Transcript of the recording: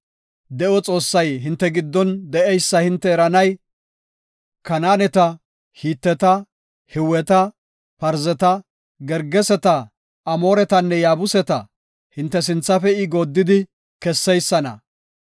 De7o Xoossay hinte giddon de7eysa hinte eranay, Kanaaneta, Hiteta, Hiweta, Parzeta, Gergeseta, Amooretanne Yaabuseta hinte sinthafe I gooddidi kesseysana.